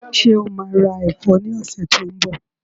Ṣé o maa ra ẹ̀fọ́ ní ọ̀sẹ̀ tí ó ń bọ̀?